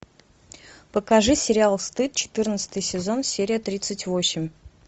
покажи сериал стыд четырнадцатый сезон серия тридцать восемь